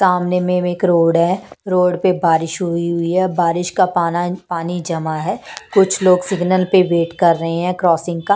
सामने में एक रोड है रोड पर बारिश हुई हुई है बारिश का पानी पानी जमा है कुछ लोग सिग्नल पे वेट कर रहे हैं क्रॉसिंग का--